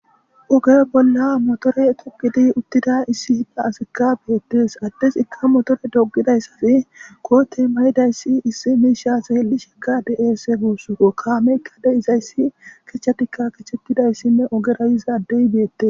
Oge bolla motore tokidi uttida issi hidda asikka beettes addes ikka motore doggidayssafi koote mayidayssi issi miishaseel'i shika deeese guussoro kaameykkade izayssi kechchatikka kechetidayssinne ogera yizaddey beette